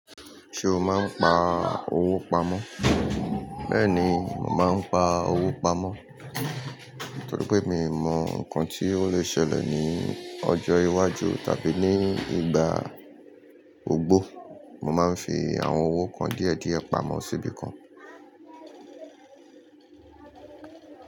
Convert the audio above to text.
Ṣé o máa ń pa owó pamọ́? Bẹ́ẹ̀ni, mo màá ń pa owó pamọ́. Nítorí pé mi ò mọ̀ nǹkan tí ó lè ṣẹlẹ̀ ní ọjọ́ iwájú tàbí ní ìgbà ogbó, mo máa ń fi àwọn owó kan díẹ̀ díẹ̀ pamọ́ síbi kan.